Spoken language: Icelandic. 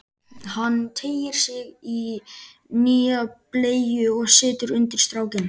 Hann teygir sig í nýja bleyju og setur undir strákinn.